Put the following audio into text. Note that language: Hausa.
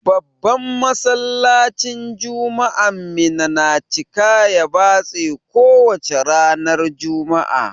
Babban Masallacin juma'an Minna na cika ya batse ko wace ranar juma'a.